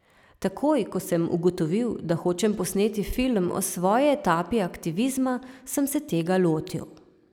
Takoj, ko sem ugotovil, da hočem posneti film o svoji etapi aktivizma, sem se tega lotil.